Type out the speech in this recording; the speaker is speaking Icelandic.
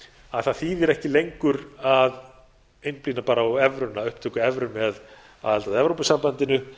að það þýðir ekki lengur að einblína á upptöku evru með aðild að evrópusambandinu